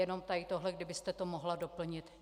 Jenom tady tohle kdybyste to mohla doplnit.